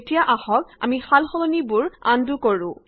এতিয়া আহক আমি সালসলনিবোৰ আন্ডু কৰো